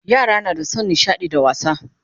Yara na da San nishaɗi da wasa